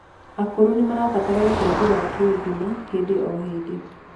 Akũrũ nimarabatara ũteithio wa kiũgima hĩndĩ o hĩndĩ